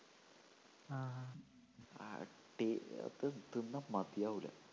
ആ ടേ അത് തിന്നാ മതിയാവൂല്ല